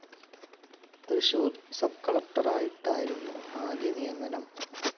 Thrissur sub കളക്ടറായിട്ടായിരുന്നു ആദ്യ നിയമനം.